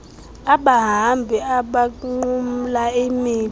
abahambi abanqumla imida